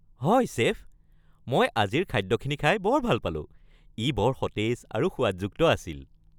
হয় চেফ, মই আজিৰ খাদ্যখিনি খাই বৰ ভাল পালোঁ। ই বৰ সতেজ আৰু সোৱাদযুক্ত আছিল।